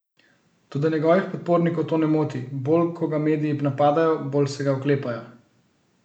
Toda njegovih podpornikov to ne moti, bolj ko ga mediji napadajo, bolj se ga oklepajo.